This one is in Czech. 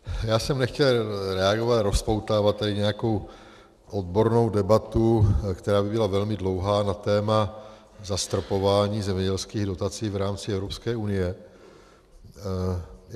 Já jsem nechtěl reagovat a rozpoutávat tady nějakou odbornou debatu, která by byla velmi dlouhá, na téma zastropování zemědělských dotací v rámci Evropské unie.